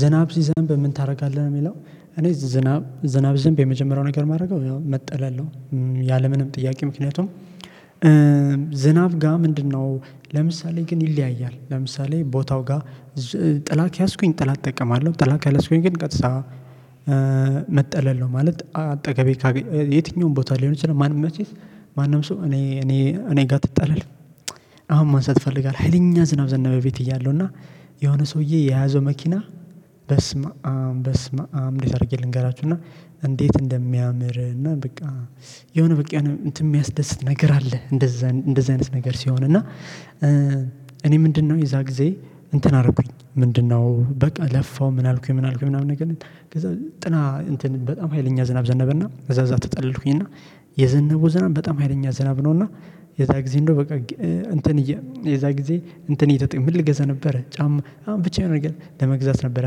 ዝናብ ሲዘንብ ምን ታረጋለህ ነው የሚለው? እኔ ዝናብ ዝንብ የመጀመሪያው ነገር የማደርገው መጥለል ነው። ያለምንም ጥያቄ ምክንያቱም ዝናብ ጋር ምንድነው ለምሳሌ ግን ይለያያል። ለምሳሌ ቦታው ጋር ጥላ ከያዝኩኝ ጥላ እጠቀማለሁ ጥላ ካልያዝኩኝ ግን ቀጥታ መጠለል ነው። ማለት አጠገቤ ካገ የትኛውም ቦታ ሊሆን ይችላል። ማን መቼስ ማንም ሰው እኔ እኔ እኔ ጋር ትጠለል። አሁን ማንሳት እፈልጋለሁ ሀይለኛ ዝናብ ዘናበ ቤት እያለሁ እና የሆነ ሰውዬ የያዘው መኪና በስመአብ በስመአም እንዴት አድርጌ ልንገራችሁ እና እንዴት እንደሚያምር እና በቃ የሆነ በቃ እንትን የሚያስደስት ነገር አለ። እንደዛ እንደዛ አይነት ነገር ሲሆን እና እኔ ምንድነው የዛ ጊዜ እንትን አደረኩኝ ምንድነው በቃ ለፋው ምን አልኩኝ ምን አልኩኝ ምናምን ነገር ከዛ ጥላ እንትን በጣም ሀይለኛ ዝናብ ዘነበና እዛ እዛ ተጠለልኩኝና የዘነቡ ዘናብ በጣም ሀይለኛ ዘናብ ነው። እና የዛ ጊዜ እንደው በቃ እንትን የዛ ጊዜ እንትን እየተጠየቀ ምን ልገዛ ነበረ ጫማ አም ብቻዬን ነገር ለመግዛት ነበር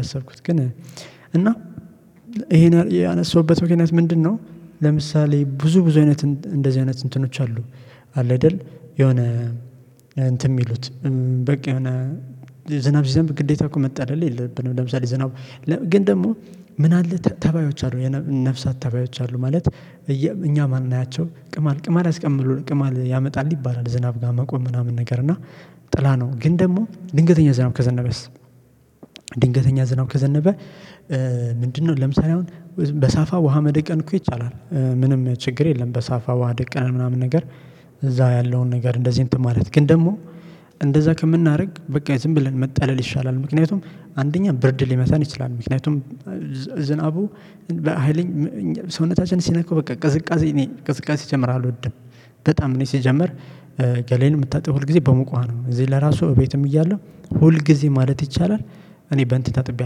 ያሰብኩት። ግን እና ይሄን ያነሳሁበት ምክንያት ምንድነው? ለምሳሌ ብዙ ብዙ አይነት እንደዚህ አይነት እንትኖች አሉ። አለ አይደል የሆነ እንትን የሚሉት በቃ የሆነ ዝናብ ሲዘንብ ግዴታ እኮ መጠለል የለብንም። ለምሳሌ ዝናብ ግን ደግሞ ምን አለ ተባዮች አሉ ነፍሳት ተባዮች አሉ። ማለት እኛ ማንያቸው ቅማል ቅማል አስቀምሎ ቅማል ያመጣል ይባላል። ዝናብ ጋር መቆም ምናምን ነገር እና ጥላ ነው። ግን ደግሞ ድንገተኛ ዝናብ ከዘነበስ ድንገተኛ ዝናብ ከዘነበ ምንድነው ለምሳሌ አሁን በሳፋ ውሃ መደቀን እኮ ይቻላል። ምንም ችግር የለም በሳፋ ዋሃ ደቅነህ ምናምን ነገር። እዛው ያለውን ነገር እንደዚህ እንትን ማለት ግን ደግሞ እንደዛ ከምናደርግ በቃ ዝም ብለን መጠለል ይሻላል። ምክንያቱም አንደኛ ብርድ ሊመታን ይችላል። ምክንያቱም ዝናቡ በሃይለኛ ሰውነታችን ሲነካው በቃ ቅዝቃዜ እኔ ቅዝቃዜ ሲጀምር አልወድም። በጣም እኔ ሲጀምር ገላየን የምታጠበው ሁል ጊዜ በሙቅ ዉሃ ነው። እዚህ ለራሱ እቤትም እያለሁ ሁል ጊዜ ማለት ይቻላል። እኔ በእንትን ታጥቤ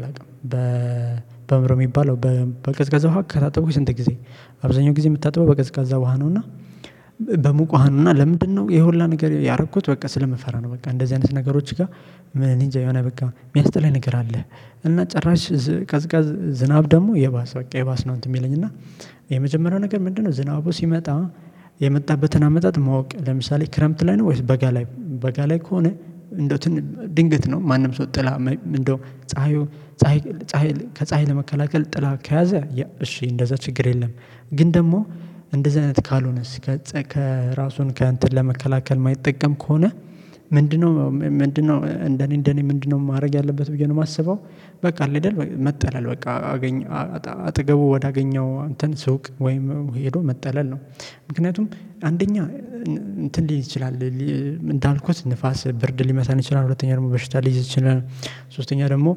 አላውቅም በ በአእምሮ የሚባለው በቅዝቀዛ ውሃ ስንት ጊዜ አብዛኛው ጊዜ የምታጥበው በቀዝቃዛ ውሃ ነው። እና በሙቅ ውሃ ነው እና ለምንድነው የሁላ ነገር ያረኩት በቃ ስለምፈራ ነው። በቃ እንደዚህ አይነት ነገሮች ጋር ምን እንጃ የሆነ በቃ የሚያስጠላ ነገር አለ። እና ጭራሽ ቀዝቃዝ ዝናብ ደግሞ የባስ በቃ የባስ ነው። እንትን የሚለኝ እና የመጀመሪያው ነገር ምንድነው? ዝናቡ ሲመጣ የመጣበትን አመጣጥ ማወቅ ለምሳሌ ክረምት ላይ ነው ወይስ በጋ ላይ በጋ ላይ ከሆነ እንደውት ድንገት ነው ማንም ሰው ጥላ እንደው ፀሀዩ ፀሀይ ፀሀይ ከፀሀይ ጥላ ከያዘ እሺ እንደዛ ችግር የለም። ግን ደግሞ እንደዚህ አይነት ካልሆነስ ከፀ ከራሱን ከእንትን ለመከላከል የማይጠቀም ከሆነ ምንድነው ምንድነው እንደኔ እንደኔ ምንድነው ማረግ ያለበት ብዬ ነው የማስበው። በቃ አለ አይደል መጠለል በቃ አገኘው አጠገቡ ወደ አገኘው አንተን ሱቅ ወይም ሄዶ መጠለል ነው። ምክንያቱም አንደኛ እንትን ሊል ይችላል። እንዳልኩት ንፋስ ብርድ ሊመታን ይችላል። ሁለተኛ ደግሞ በሽታ ሊይዝ ይችላል። ሶስተኛ ደግሞ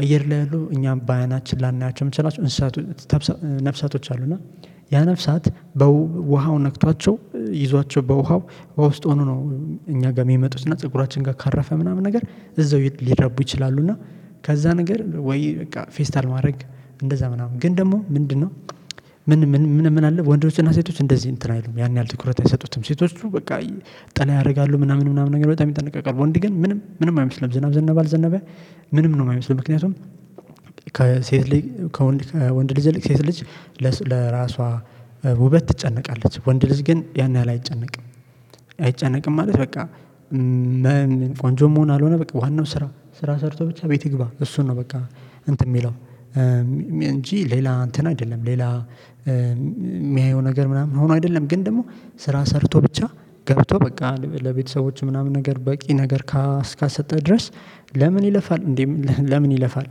አየር ላይ አሉ እኛም ባያናችን ላናያቸው የምንችላቸው እንስሳቶች ነፍሳቶች አሉ። እና ያ ነፍሳት በውሃው ነክቷቸው ይዟቸው በውሃው በውስጥ ሆኖ ነው እኛ ጋር የሚመጡት እና ፀጉራችን ጋር ካራፈ ምናምን ነገር እዛው ሊረቡ ይችላሉ። እና ከዛ ነገር ወይ በቃ ፌስታል ማረግ እንደዛ ምናምን ግን ደግሞ ምንድነው? ምን ምን ምን አለ ወንዶችና ሴቶች እንደዚህ እንትን አይሉም ያን ያህል ትኩረት አይሰጡትም። ሴቶቹ በቃ ጥላ ያደርጋሉ ምናምን ምናምን ነገር በጣም ይጠነቀቃሉ ወንድ ግን ምንም ምንም አይመስለንም ዝናብ ዝናብ አልዘነበ። ምንም ነው የማይመስልም ምክንያቱም ከሴት ልጅ ከወንድ ልጅ ሴት ልጅ ለራሷ ውበት ትጨነቃለች። ወንድ ልጅ ግን ያን ያህል አይጨነቅም። አይጨነቅም ማለት በቃ ምን ቆንጆ መሆን አልሆነ በቃ ዋናው ስራ ስራ ሰርቶ ብቻ ቤት ይግባ እሱን ነው። በቃ እንትን የሚለው እንጂ ሌላ እንትን አይደለም። ሌላ የሚያየው ነገር ምናምን ሆኖ አይደለም። ግን ደግሞ ስራ ሰርቶ ብቻ ገብቶ በቃ ለቤተሰቦች ምናምን ነገር በቂ ነገር ካስካሰጠህ ድረስ። ለምን ይለፋል እንዴ ለምን ይለፋል?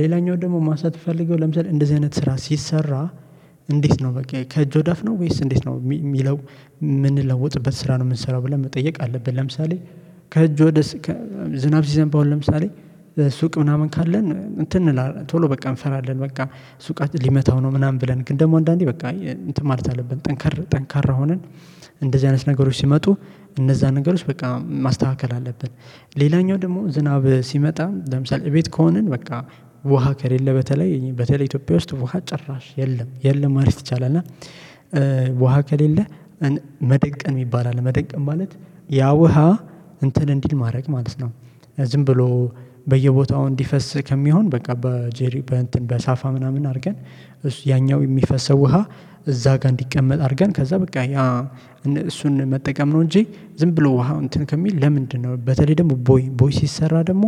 ሌላኛው ደግሞ ማንሳት የሚፈልገው ለምሳሌ እንደዚህ አይነት ስራ ሲሰራ። እንዴት ነው በቃ ከእጅ ወደ አፍ ነው ወይስ እንዴት ነው የሚለው? የምንለውጥበት ስራ ነው የምንሰራው ብለን መጠየቅ አለብን። ለምሳሌ ከእጅ ወደ ዝናብ ሲዘንብ አሁን ለምሳሌ ሱቅ ምናምን ካለን እንትን እንላለን ቶሎ በቃ እንፈራለን። በቃ ሱቃችን ሊመታው ነው ምናምን ብለን ግን ደግሞ አንዳንዴ በቃ እንትን ማለት አለብን። ጠንካር ጠንካራ ሆነን እንደዚህ አይነት ነገሮች ሲመጡ እነዛን ነገሮች በቃ ማስተካከል አለብን። ሌላኛው ደግሞ ዝናብ ሲመጣ ለምሳሌ እቤት ከሆንን በቃ ውሃ ከሌለ በተለይ በተለይ ኢትዮጵያ ውስጥ ውሃ ጨራሽ የለም የለም ማለት ይቻላል። እና ከሌለ መደቀን የሚባል አለ መደቀን ማለት ያ ውሃ እንትን እንዲል ማድረግ ማለት ነው። ዝም ብሎ በየቦታው እንዲፈስ ከሚሆን በቃ በጄሪ በእንትን በሳፋ ምናምን አርገን ያኛው የሚፈሰው ውሃ እዛ ጋር እንዲቀመጥ አድርገን ከዛ በቃ እሱን መጠቀም ነው። እንጂ ዝም ብሎ ውሃ እንትን ከሚል ለምንድነው በተለይ ደግሞ ቦይ ቦይ ሲሰራ ደግሞ